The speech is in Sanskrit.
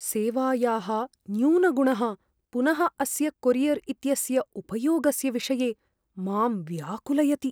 सेवायाः न्यूनगुणः पुनः अस्य कोरियर् इत्यस्य उपयोगस्य विषये मां व्याकुलयति।